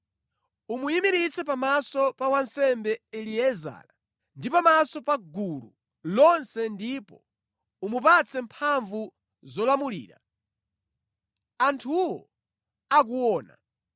Umuyimiritse pamaso pa wansembe Eliezara ndi pamaso pa gulu lonse ndipo umupatse mphamvu zolamulira, anthuwo akuona.